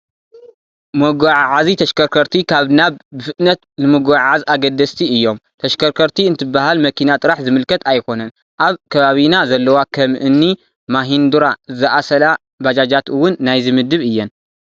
መጓዓዓዚ ተሽከርከርቲ ካብ ናብ ብፍጥነት ንምጉዕዓዝ ኣገደስቲ እዮም፡፡ ተሽከርከርቲ እንትበሃል መኪና ጥራሕ ዝምልከት ኣይኮነን፡፡ ኣብ ከባቢና ዘለዋ ከም እኒ ማሂንዱራ ዝኣሰላ ባጃጃት እውን ናይዚ ምድብ እየን፡፡